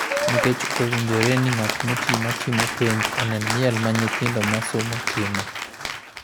nikech ok owinjore ni ng’at moti ma timo penj onen miel ma nyithindo ma somo timo,